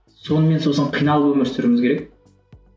сонымен сосын қиналып өмір сүруіміз керек